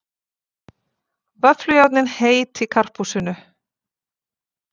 Vöfflujárnin heit í Karphúsinu